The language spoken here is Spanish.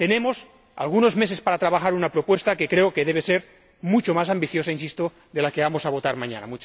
Tenemos algunos meses para trabajar una propuesta que creo que debe ser mucho más ambiciosa insisto de la que vamos a votar mañana.